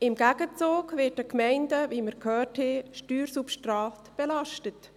Im Gegenzug wird den Gemeinden, wie wir gehört haben, Steuersubstrat belastet.